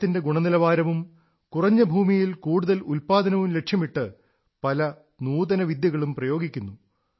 പഴത്തിന്റെ ഗുണനിലവാരവും കുറഞ്ഞ ഭൂമിയിൽ കൂടുതൽ ഉത്പാദനവും ലക്ഷ്യമിട്ട് പല നൂതനവിദ്യകളും പ്രയോഗിക്കുന്നു